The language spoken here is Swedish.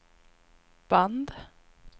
band